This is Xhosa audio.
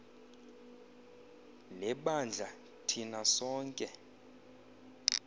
lebandla thina sonke